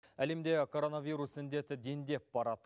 әлемде коронавирус індеті дендеп барады